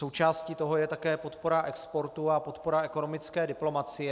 Součástí toho je také podpora exportu a podpora ekonomické diplomacie.